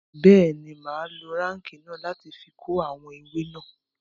Bẹẹni, ma lo réèkì náà láti ko awọn ewe náà